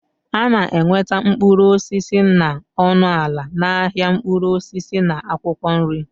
A na-enweta mkpụrụ osisi na ọnụ ala n'ahịa mkpụrụ osisi na akwụkwọ nri